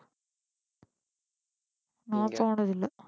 நான் போனதில்லை